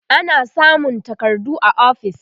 ana samun takardu a ofis